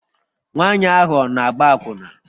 Nwanyị ahụ ọ na-agba akwụna?